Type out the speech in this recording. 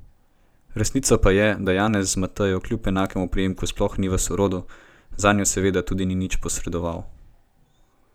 Resnica pa je, da Janez z Matejo kljub enakemu priimku sploh ni v sorodu, zanjo seveda tudi ni nič posredoval.